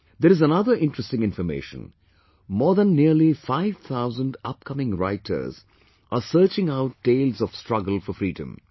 There is another interesting information more than nearly 5000 upcoming writers are searching out tales of struggle for freedom